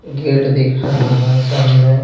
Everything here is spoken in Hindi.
गेट दिख रहा है सामने--